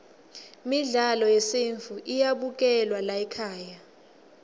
midlalo yesintfu iyabukelwa laykhaya